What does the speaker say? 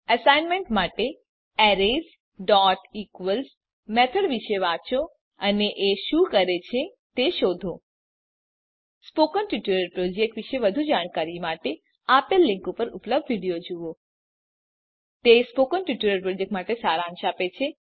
assignment માટે arraysઇક્વલ્સ method વિશે વાંચો અને એ શું કરે છે તે શોધો સ્પોકન ટ્યુટોરીયલ પ્રોજેક્ટ વિશે વધુ જાણકારી માટે આપેલ લીંક પર ઉપલબ્ધ વિડીયો જુઓ1 Iતે સ્પોકન ટ્યુટોરીયલ પ્રોજેક્ટનો સારાંશ આપે છે